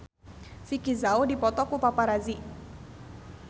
Vicki Zao dipoto ku paparazi